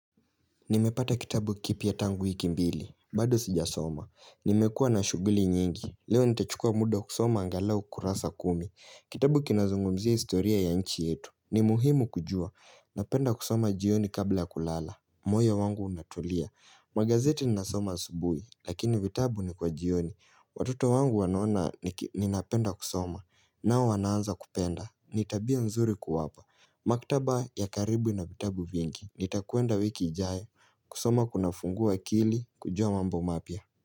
Nimepata kitabu kipya tangu hiki mbili, bado sijasoma, nimekuwa na shughuli nyingi Leo nitachukua muda kusoma angalau kurasa kumi, kitabu kinazungumzia historia ya nchi yetu, ni muhimu kujua, napenda kusoma jioni kabla ya kulala moyo wangu unatulia, magazeti ninasoma asubuhi, lakini vitabu ni kwa jioni, watoto wangu wanaona ninapenda kusoma, nao wanaanza kupenda, ni tabia nzuri kuwapa Maktaba ya karibu ina vitabu vingi Nitakwenda wiki ijayo kusoma kunafungua akili kujua mambo mapya.